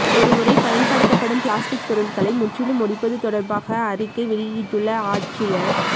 ஒருமுறை பயன்படுத்தப்படும் பிளாஸ்டிக் பொருள்களை முற்றிலும் ஒழிப்பது தொடர்பாக அறிக்கை வெளியிட்டுள்ள ஆட்சியர்